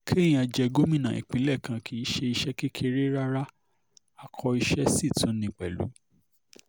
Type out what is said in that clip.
kéèyàn jẹ gómìnà ìpínlẹ̀ kan kì í ṣe iṣẹ́ kékeré rárá akọ iṣẹ́ sì tún ni pẹ̀lú